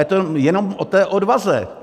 Je to jenom o té odvaze.